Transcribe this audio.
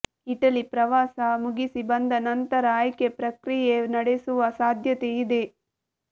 Italy ಪ್ರವಾಸ ಮುಗಿಸಿ ಬಂದ ನಂತರ ಆಯ್ಕೆ ಪ್ರಕ್ರಿಯೆ ನಡೆಯುವ ಸಾಧ್ಯತೆ ಇದೆ